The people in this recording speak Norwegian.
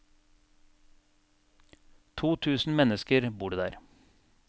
To tusen mennesker bor det der.